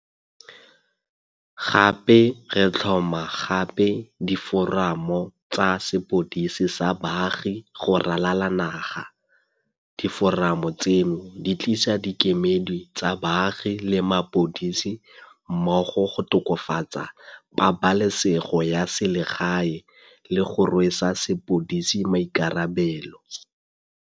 Gape re tlhoma gape diforamo tsa sepodisi sa baagi go ralala naga. Diforamo tseno di tlisa dikemedi tsa baagi le mapodisi mmogo go tokafatsa pabalesego ya selegae le go rwesa sepodisi maikarabelo.